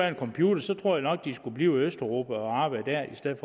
en computer så tror jeg nok at de skulle blive i østeuropa og arbejde dér i stedet